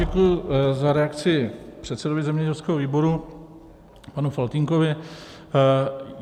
Děkuji za reakci předsedovi zemědělského výboru panu Faltýnkovi.